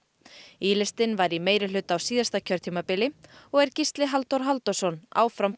í listinn var í meirihluta á síðasta kjörtímabili og er Gísli Halldór Halldórsson áfram